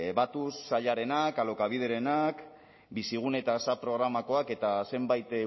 batuz sailarenak alokabiderenak bizigune eta asap programakoak eta zenbait